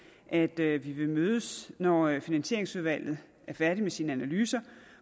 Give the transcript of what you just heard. indebærer at vi vil mødes når finansieringsudvalget er færdigt med sine analyser